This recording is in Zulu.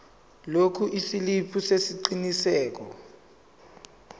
lokhu isiliphi sesiqinisekiso